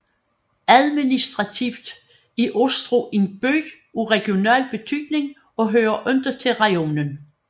Administrativt er Ostroh en by af regional betydning og hører ikke til rajonen